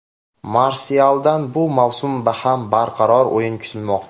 Marsyaldan bu mavsum ham barqaror o‘yin kutilmoqda.